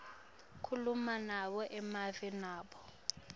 kulamanye emave nobe